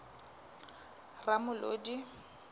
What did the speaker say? ramolodi